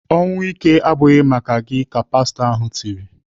"Ọnwụ ike abụghị maka gị!" ka pastọ ahụ tiri.